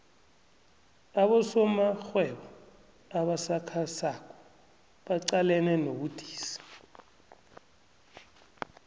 abosomarhwebo abasakhasako baqalene nobudisi